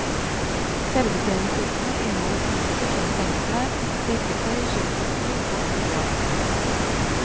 Selvbetjeningshyttene inneholder utstyr som sengeklær, dekketøy, kjøkkenutstyr og proviant.